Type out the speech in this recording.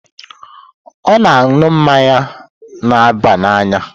Ọ na-aṅụ mmanya na-aba n'anya?